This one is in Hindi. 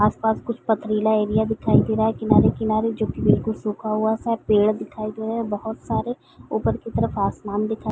आस पास कुछ पथरीला एरिया दिखाई दे रहा है किनारे-किनारे जो की बिलकुल सूखा हुआ सा पेड़ दिखाई दे रहा है बहोत सारे ऊपर की तरफ आसमान दिखाई --